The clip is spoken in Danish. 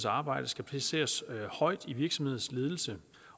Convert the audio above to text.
arbejde skal placeres højt i virksomhedens ledelse